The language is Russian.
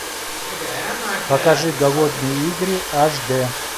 покажи голодные игры аш д